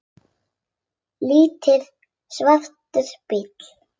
Lítill, svartur bíll.